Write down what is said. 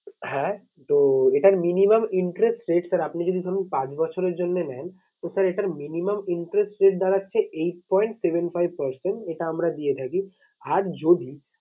হ্যাঁ তো এটার minimum interest rate sir আপনি যদি ধরুন পাঁচ বছরের জন্য নেন তো sir এটার minimum interest rate দাঁড়াচ্ছে eight point seven five percent এটা আমরা দিয়ে থাকি আর যদি